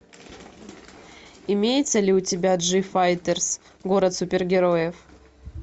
имеется ли у тебя джифайтерс город супергероев